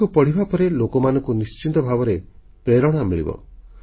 ତାକୁ ପଢ଼ିବା ପରେ ଲୋକମାନଙ୍କୁ ନିଶ୍ଚୟ ପ୍ରେରଣା ମିଳିବ